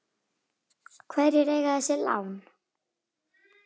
Hverjir eiga þessi lán?